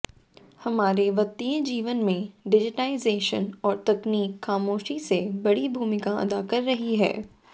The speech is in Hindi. हमारे वित्तीय जीवन में डिजिटाइजेशन और तकनीक खामोशी से बड़ी भूमिका अदा कर रही है